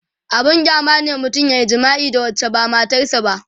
abun kyama ne mutum yayi jima'i da wacce ba matar sa ba